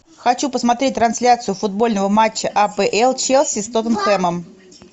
хочу посмотреть трансляцию футбольного матча апл челси с тоттенхэмом